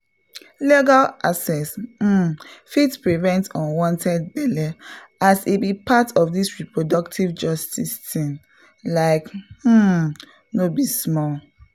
legal access um fit prevent unwanted belle as e be part of this reproductive justice thing — like um no be small!